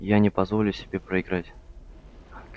я не позволю себе проиграть